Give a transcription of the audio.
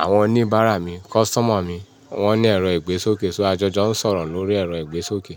Àwọn oníbàárà mi, customer mi wọ́n ní ẹ̀rọ ìgbésókè. So ajọjọ ń sọ̀rọ̀ lórí ẹ̀rọ ìgbésókè.